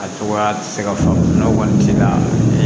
A cogoya tɛ se ka faamuya o kɔni tɛ se ka